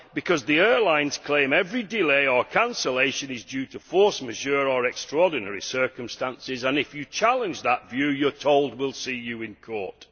Because the airlines claim that every delay or cancellation is due to force majeure or extraordinary circumstances, and if you challenge that view you are told we will see you in court'.